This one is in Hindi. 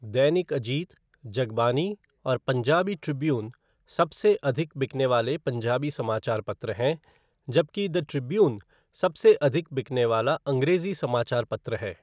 दैनिक अजीत, जगबानी और पंजाबी ट्रिब्यून सबसे अधिक बिकने वाले पंजाबी समाचार पत्र हैं जबकि द ट्रिब्यून सबसे अधिक बिकने वाला अंग्रेजी समाचार पत्र है।